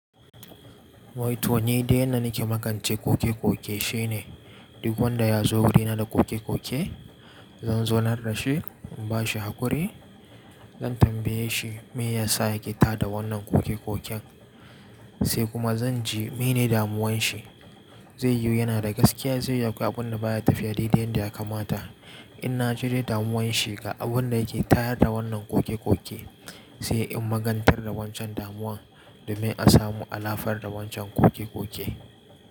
Wai to nidai yanda nake makance koke-koke shine duk wanda ya zo wurina da koke-koke, zan zo na rassa shi, in bashi hakuri, zan tambaye shi me ya sa yake ta da wannan koke-koken. Sai kuma zan ji mene damuwan shi. Zai yi yana da gaskiya, zai yaki abun da baya tafiya, dai dai yanda ya kamata. In na jude damuwan shi ga abun da yake tayar da wannan kokekoke, sai in magantar da wancan damuwa domin a samu alafar da wancan kokekoke.